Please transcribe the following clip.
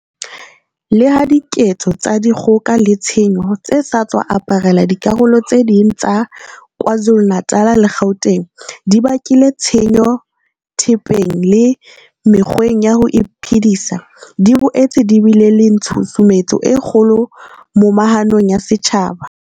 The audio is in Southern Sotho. Leha diketso tsa di kgoka le tshenyo tse sa tswa aparela dikarolo tse ding tsa Kwa Zulu-Natal le Gauteng di bakile tshenyo thepeng le mekgweng ya ho iphedisa, di boetse di bile le tshusumetso e kgolo momahanong ya setjhaba.